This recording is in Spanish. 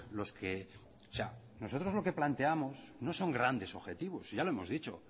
los que o sea nosotros lo que planteamos no son grandes objetivos si ya lo hemos dicho